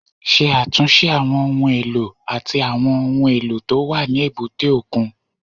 Ṣe àtúnṣe àwọn ohun èlò àti àwọn ohun èlò tó wà ní èbúté òkun